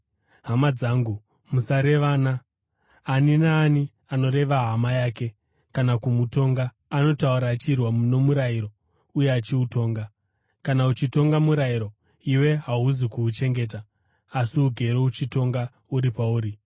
Hama dzangu, musarevana. Ani naani anoreva hama yake kana kumutonga anotaura achirwa nomurayiro uye achiutonga. Kana uchitonga murayiro, iwe hauzi kuuchengeta, asi ugere uchitonga uri pauri.